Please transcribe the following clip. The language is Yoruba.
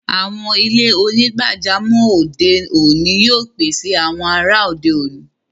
Awọn ilẹ̀-onígbàjàmọ́ ode oni yóò pèsè awọn àrà ode oni.